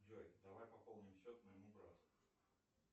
джой давай пополним счет моему брату